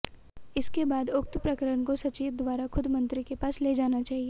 इसके बाद उक्त प्रकरण को सचिव द्वारा खुद मंत्री के पास ले जाना चाहिए